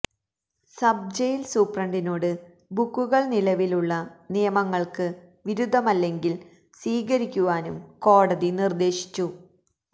sub jail സൂപ്രണ്ടിനോട് ബുക്കുകള് നിലവിലുള്ള നിയമങ്ങള്ക്ക് വിരുദ്ധമല്ലെങ്കില് സ്വീകരിക്കുവാനും കോടതി നിര്ദ്ദേശിച്ചു